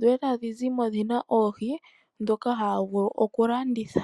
dho tadhi zimo dhina oohi dhoka haya vulu okulanditha.